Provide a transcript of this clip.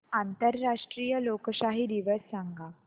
आंतरराष्ट्रीय लोकशाही दिवस सांगा